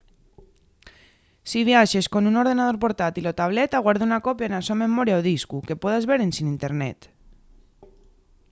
si viaxes con un ordenador portátil o tableta guarda una copia na so memoria o discu que puedas ver ensin internet